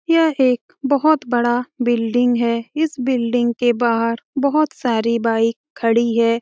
यह एक बहुत बड़ा बिल्डिंग है इस बिल्डिंग के बाहर बहुत सारी बाइक खड़ी हैं।